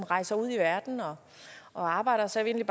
rejste ud i verden og og arbejdede så jeg vil